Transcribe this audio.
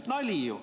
Nali ju!